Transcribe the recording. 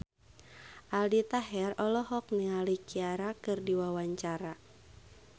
Aldi Taher olohok ningali Ciara keur diwawancara